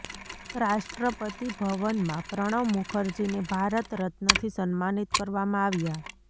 રાષ્ટ્રપતિ ભવનમાં પ્રણવ મુખર્જીને ભારત રત્નથી સમ્માનિત કરવામાં આવ્યા